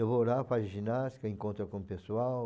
Eu vou lá para ginástica, encontro com o pessoal.